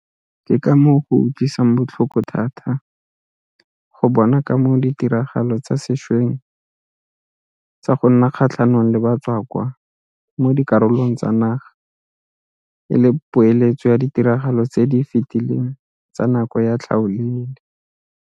Ke ka moo go utlwisang botlhoko thata go bona ka moo ditiragalo tsa sešweng tsa go nna kgatlhanong le batswakwa mo dikarolong tsa naga e le poeletso ya ditiragalo tse di fetileng tsa nako ya tlhaolele.